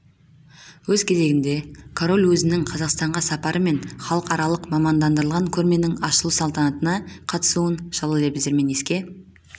өз кезегінде король өзінің қазақстанға сапары мен халықаралық мамандандырылған көрменің ашылу салтанатына қатысуын жылы лебіздермен еске